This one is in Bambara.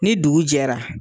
Ni dugu jɛra